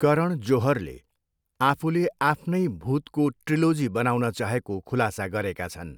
करण जोहरले आफूले आफ्नै भुतको ट्रिलोजी बनाउन चाहेको खुलासा गरेका छन्।